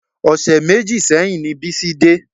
Ọṣẹ méjì sẹ́yìn ni Bísí dé